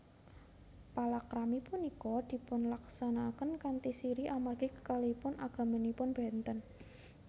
Palakrami punika dipunlaksanakaken kanthi sirri amargi kekalihipun agamanipun benten